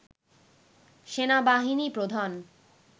সেনাবাহিনী প্রধান